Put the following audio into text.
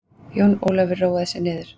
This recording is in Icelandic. Jón Ólafur róaði sig niður.